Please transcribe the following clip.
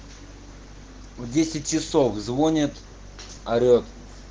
в десять часов звонит орет